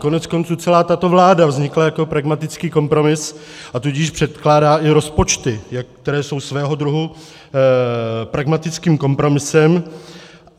Koneckonců celá tato vláda vznikla jako pragmatický kompromis, a tudíž předkládá i rozpočty, které jsou svého druhu pragmatickým kompromisem.